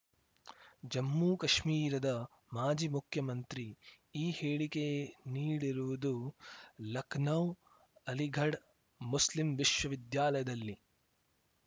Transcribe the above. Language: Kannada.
ಜಮ್ಮು ಕಾಶ್ಮೀರದ ಮಾಜಿ ಮುಖ್ಯಮಂತ್ರಿ ಈ ಹೇಳಿಕೆ ನೀಡಿರುವುದು ಲಖನೌ ಅಲಿಘಡ್‌ ಮುಸ್ಲಿಂ ವಿಶ್ವವಿದ್ಯಾಲಯದಲ್ಲಿ